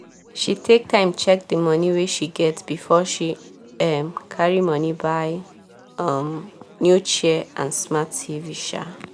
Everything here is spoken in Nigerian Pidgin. she take time check di moni wey she get before she um carry moni buy um new chair and smart tv um